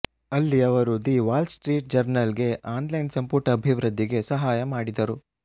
ಅಲ್ಲಿ ಅವರು the Wall Street Journal ಗೆ ಆನ್ ಲೈನ್ ಸಂಪುಟ ಅಭಿವೃದ್ಧಿಗೆ ಸಹಾಯ ಮಾಡಿದರು